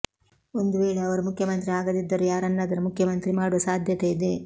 ಒಂದು ವೇಳೆ ಅವರು ಮುಖ್ಯಮಂತ್ರಿ ಆಗದಿದ್ದರೂ ಯಾರನ್ನಾದರೂ ಮುಖ್ಯಮಂತ್ರಿ ಮಾಡುವ ಸಾಧ್ಯತೆ ಇದೆ